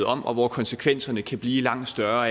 om og hvor konsekvenserne kan blive langt større